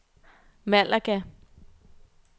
Malaga